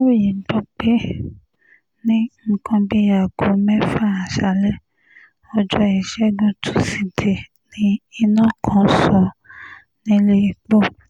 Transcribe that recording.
aláròye gbọ́ pé ní nǹkan bíi aago mẹ́fà aṣáálẹ̀ ọjọ́ ìṣẹ́gun tusidee ni iná kan sọ nílẹ̀ẹ́pọ̀ kr